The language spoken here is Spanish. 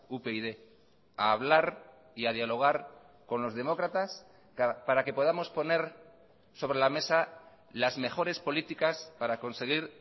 upyd a hablar y a dialogar con los demócratas para que podamos poner sobre la mesa las mejores políticas para conseguir